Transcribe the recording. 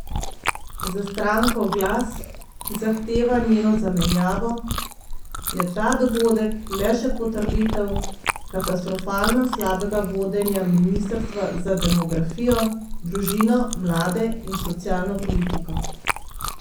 Za stranko Glas, ki zahteva njeno zamenjavo, je ta dogodek le še potrditev katastrofalno slabega vodenja ministrstva za demografijo, družino, mlade in socialno politiko.